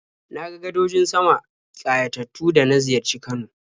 Na ga gadojin sama ƙayatattu da na ziyarci Kano.